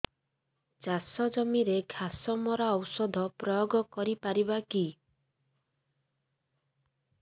ଚାଷ ଜମିରେ ଘାସ ମରା ଔଷଧ ପ୍ରୟୋଗ କରି ପାରିବା କି